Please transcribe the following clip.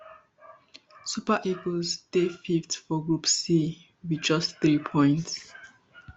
super eagles dey fifth for group c wit just three points